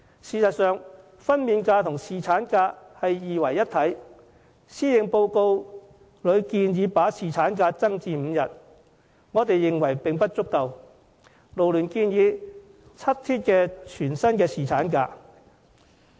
事實上，分娩假與侍產假是二為一體的，施政報告建議增加侍產假至5天，勞聯認為並不足夠，建議7天全薪的侍產假。